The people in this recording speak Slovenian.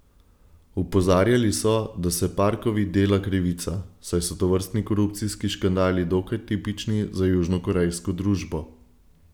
Opozarjali so, da se Parkovi dela krivica, saj so tovrstni korupcijski škandali dokaj tipični za južnokorejsko družbo.